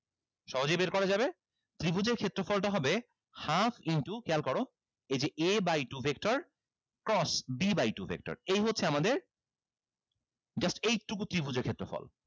সহজেই বের করা যাবে ত্রিভুজের ক্ষেত্রফলটা হবে half into খেয়াল করো এই যে a by two vector cross b by two vector এই হচ্ছে আমাদের just এইটুকু ত্রিভুজের ক্ষেত্রফল